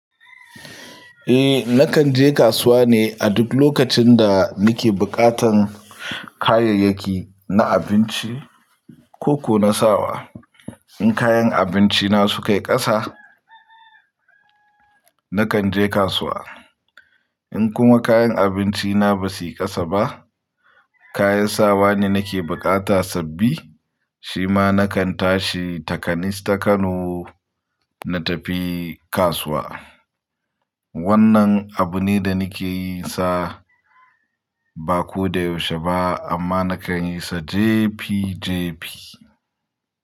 Eh, nakan je kasuwa ne a duk lokacin da nake buƙatan kayayyaki na abinci ko ko na sawa. In kayan abinci na su kai ƙasa, nakan je kasuwa. In kuma kayan abinci na ba su yi ƙasa ba, kayan sawa ne nake bukata sabbi, shi ma nakan tashi takanis ta Kano na tafi kasuwa. Wannan abu ne da nake yi sa ba ko da yaushe ba amma nakan yi sa jefijefi.